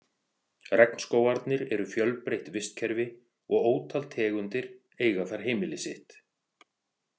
Regnskógarnir eru fjölbreytt vistkerfi og ótal tegundir eiga þar heimili sitt.